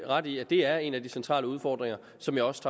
ret i at det er en af de centrale udfordringer som jeg også